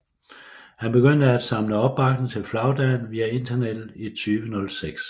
Han begyndte af samle opbakning til flagdagen via internettet i 2006